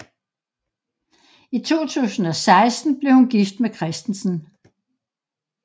I 2016 blev hun gift med Christensen